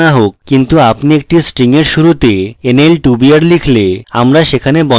কিন্তু আপনি একটি string এর শুরুতে nl2br লিখলে আমরা সেখানে বন্ধনী শেষ করব